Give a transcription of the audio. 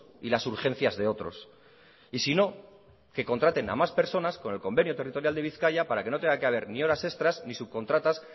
y las urgencias de otros y si no que contraten a más personas con el convenio territorial de bizkaia para que no tenga que haber ni horas extras ni subcontratas